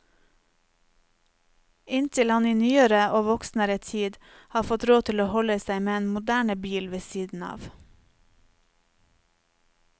Inntil han i nyere og voksnere tid har fått råd til å holde seg med en moderne bil ved siden av.